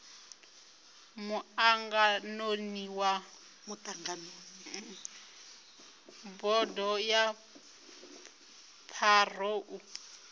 muṱanganoni wa bodo ya pharou